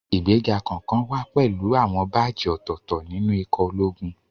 Ìgbéga kọ̀ọ̀kan wá pẹ̀lú àwọn báàjì ọ̀tọ̀ọ̀tọ̀ nínú ikọ̀ ológun